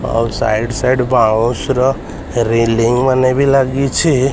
ଆଉ side side ବାଉଁଶ୍ ର ରେଲିଂ ମାନେ ବି ଲାଗିଛି।